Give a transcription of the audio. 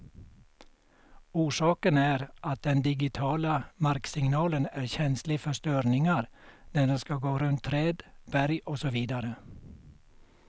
Orsaken är att den digitiala marksignalen är känslig för störningar när den skall gå runt träd, berg och så vidare.